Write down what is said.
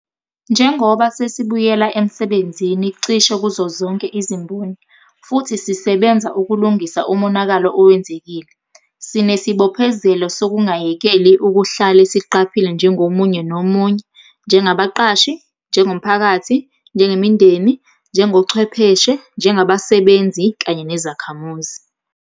Njengoba sesibuyela emsebenzini cishe kuzozonke izimboni - futhi sisebenza ukulungisa umonakalo owenzekile - sinesibophezelo sokungayekeli ukuhlale siqaphile njengomunye nomunye, njengabaqashi, njengomphakathi, njengemindeni, njengochwepheshe, njengabasebenzi kanye nezakhamuzi.